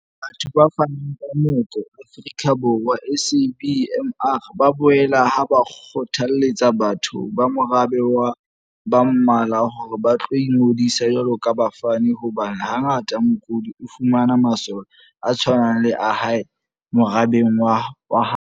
Batho ba Fanang ka Moko Afrika Borwa, SABMR, ba bolela ha ba kgothaletsa batho ba morabe wa ba Mmala hore ba tlo ingodisa jwalo ka bafani hobane ha ngata mokudi o fumana masole a tshwanang le a hae morabeng wa ha habo.